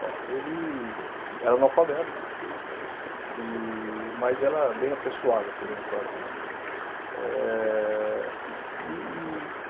Bom, ele era analfabeto, e mas era bem apessoado, podemos falar assim, né? Eh e e